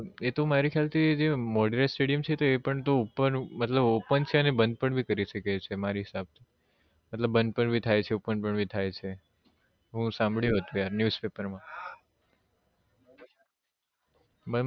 એ તો મારા ખ્યાલ થી જે મોઢેરા stadium છે તો એ પણ ઉપર મતલબ open છે અને બંધ પણ કરી શકે છે મારા હિસાબ થી મતલબ બંધ પણ બી થાય છે open પણ બી થાય છે એવું સાંભળ્યું હતું yaar newspaper માં